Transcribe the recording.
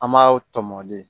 An m'a tɔmɔ de